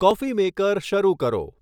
coffee maker શરૂ કરો